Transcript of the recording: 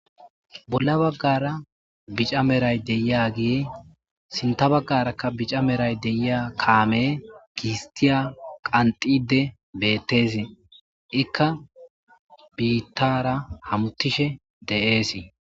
Bolla baggara bica medhoy deiyagey sintta baggarakk bica medhoy deiya kaamey gisttiya qanxiddi beettes iikka biittara hamuttishe dees